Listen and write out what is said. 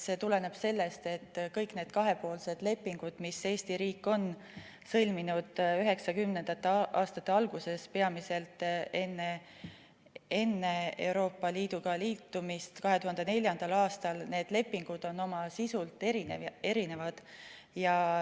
See tuleneb sellest, et kõik need kahepoolsed lepingud, mis Eesti riik sõlmis 1990. aastate alguses, peamiselt enne Euroopa Liiduga liitumist 2004. aastal, on oma sisult erinevad.